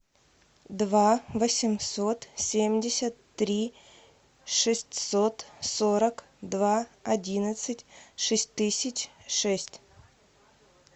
два восемьсот семьдесят три шестьсот сорок два одиннадцать шесть тысяч шесть